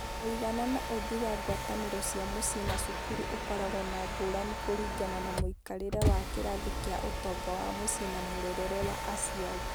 Mũigana na ũũmbi wa ngwatanĩro cia mũciĩ na cukuru ũkoragwo na ngũrani kũringana na mũikarĩre wa kĩrathi kĩa ũtonga wa mũciĩ na mũrerere wa aciari.